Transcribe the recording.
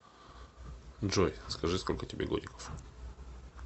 джой скажи сколько тебе годиков